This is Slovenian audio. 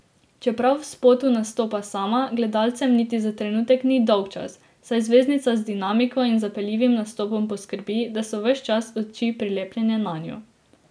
Čeprav v spotu nastopa sama, gledalcem niti za trenutek ni dolgčas, saj zvezdnica z dinamiko in zapeljivim nastopom poskrbi, da so ves čas oči prilepljene nanjo.